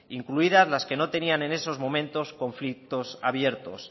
incluidas las que no tenía en esos momentos conflictos abiertos